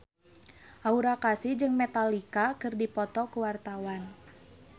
Aura Kasih jeung Metallica keur dipoto ku wartawan